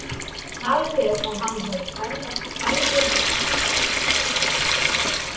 Talið er að hann hafi bæði ferðast um Egyptaland og Babýloníu.